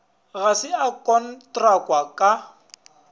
ga se a kontrakwa ka